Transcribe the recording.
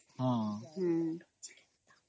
noise